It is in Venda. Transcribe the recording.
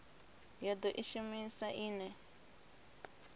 ya do i shumisa ine